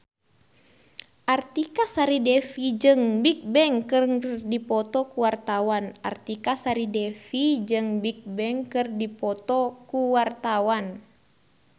Artika Sari Devi jeung Bigbang keur dipoto ku wartawan